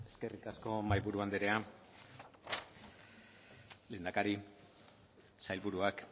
eskerrik asko mahaiburu anderea lehendakari sailburuak